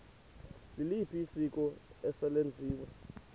liliphi isiko eselenziwe